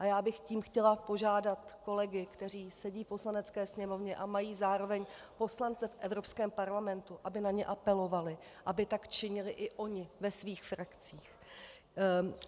A já bych tím chtěla požádat kolegy, kteří sedí v Poslanecké sněmovně a mají zároveň poslance v Evropské parlamentu, aby na ně apelovali, aby tak činili i oni ve svých frakcích.